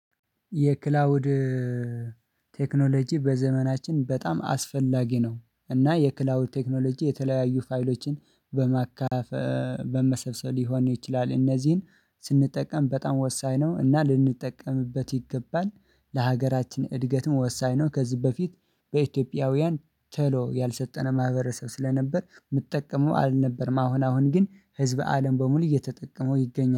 የክላውድ ቴክኖሎጂ በዘመናችን በጣም አስፈላጊ ነው። እና የክላውድ ቴክኖሎጂ የተለያዩ ፋይሎችን በመሰብሰብ ሊሆን ይችላል እነዚህን ስንጠቀም በጣም ወሳኝ ነው። እና ልንጠቀምበት ይገባል ለሀገራችን እድገትም ወሳኝ ነው። ከዚህ በፊት በኢትዮጵያውያን ቶሎ ያልሰጠነው ማህበረሰብ ስለነበር የሚጠቀመው አልነበርም። አሁን አሁን ግን ህዝብ አለም በሙሉ እየተጠቀመው ይገኛል